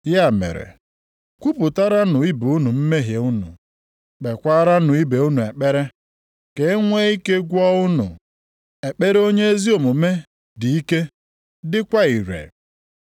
Ya mere kwupụtaranụ ibe unu mmehie unu. Kpeekwaranụ ibe unu ekpere ka e nwe ike gwọọ unu. Ekpere onye ezi omume dị ike dịkwa ire.